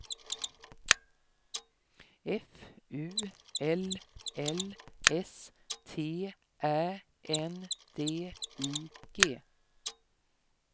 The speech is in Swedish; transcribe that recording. F U L L S T Ä N D I G